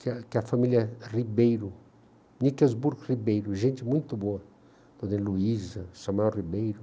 que a que a família Ribeiro, Niquelsburgo Ribeiro, gente muito boa, Dona Heloísa, Samuel Ribeiro.